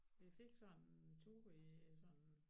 Vi fik sådan en tur i sådan